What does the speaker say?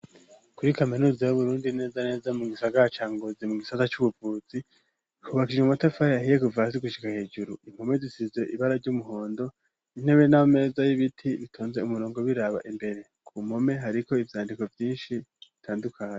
Kuri kaminuza yo burundi neza neza mu gisagaha cangozi mu gisaza cy'ubuvuzi kubakirye mumatafari ahiye guvazigushyiga hejuru impome zisize ibara ry'umuhondo intebe n'ameza y'ibiti bitonze umurongo biraba imbere ku mpome hariko ivyandiko vyinshi bitandukanye.